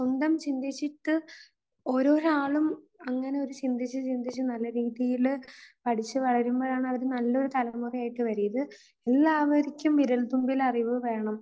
സ്വന്തം ചിന്തിച്ചിട്ട് ഓരോര് ആളും അങ്ങനെ ഒരു ചിന്തിച്ച് ചിന്തിച്ച് നല്ല രീതിയിൽ പഠിച്ച് വളരുമ്പോഴാണ് അവർ നല്ലൊരു തലമുറ ആയിട്ട് വരുന്നത്. ഇത് എല്ലാവർക്കും വിരൽത്തുമ്പിൽ അറിവ് വേണം